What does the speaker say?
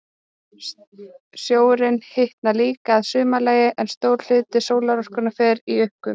Sjórinn hitnar líka að sumarlagi, en stór hluti sólarorkunnar fer í uppgufun.